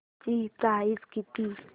ची प्राइस किती